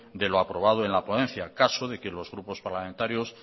de lo aprobado en la ponencia en caso de que los grupos parlamentarios